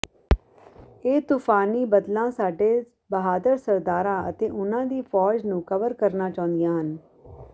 ਇਹ ਤੂਫ਼ਾਨੀ ਬੱਦਲਾਂ ਸਾਡੇ ਬਹਾਦਰ ਸਰਦਾਰਾਂ ਅਤੇ ਉਨ੍ਹਾਂ ਦੀ ਫ਼ੌਜ ਨੂੰ ਕਵਰ ਕਰਨਾ ਚਾਹੁੰਦੀਆਂ ਹਨ